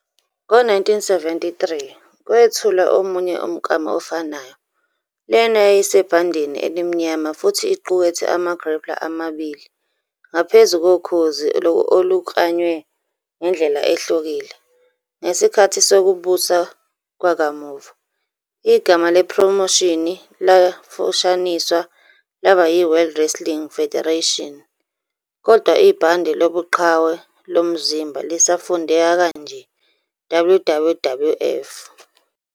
Ngo-1973 kwethulwa omunye umklamo ofanayo, lena yayisebhandeni elimnyama futhi iqukethe ama-grappler amabili ngaphezu kokhozi oluklanywe ngendlela ehlukile. Ngesikhathi sokubusa kwakamuva, igama lephromoshini lafushaniswa laba yi-World Wrestling Federation, WWF, kodwa ibhande lobuqhawe lomzimba lisafundeka kanje "WWWF".